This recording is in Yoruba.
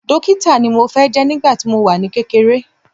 Dókítà ni mo fẹ́ jẹ́ nígbà tí mo wà ní kékeré